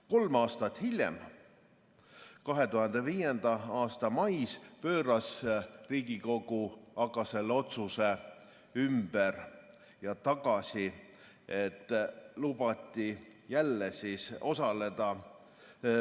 Kolm aastat hiljem, 2005. aasta mais, pööras Riigikogu aga selle otsuse ümber ja lubati jälle osaleda.